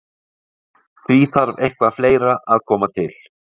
Því þarf eitthvað fleira að koma til.